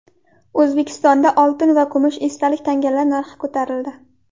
O‘zbekistonda oltin va kumush esdalik tangalar narxi ko‘tarildi.